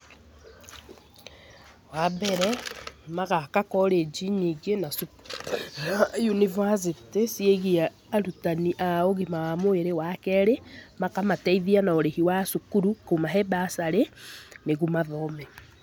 Wa mbere, magaka college nyingĩ na yunibacĩtĩ ciĩgiĩ arutani a ũgima wa mwĩrĩ. Wa kerĩ, makamateithia na ũrĩhi wa cukuru, kũmahe mbacarĩ nĩguo mathome.